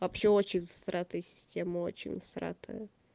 вообще очень сратую систему очень сратую